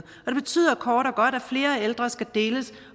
og kort og godt at flere ældre skal deles